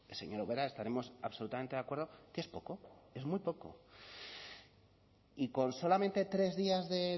señora ubera estaremos absolutamente de acuerdo que es poco es muy poco y con solamente tres días de